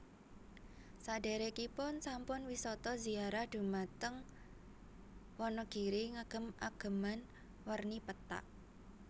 Sadekripun sami wisata ziarah dumateng Wonogiri ngagem ageman werni pethak